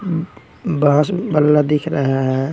अम्म बास-बल्ला दिख रहा हैं।